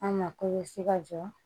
An ma ka jɔ